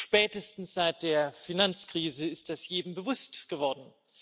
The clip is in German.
Spätestens seit der Finanzkrise ist das jedem bewusst geworden.